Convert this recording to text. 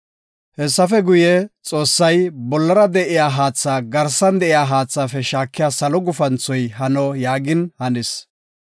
Hessafe guye, Xoossay, “Bollara de7iya haatha garsan de7iya haathaafe shaakiya salo gufanthoy hano” yaagin hanis.